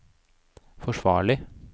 forsvarlig